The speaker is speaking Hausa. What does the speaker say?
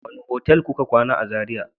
wane motel kuka kwana a zarai?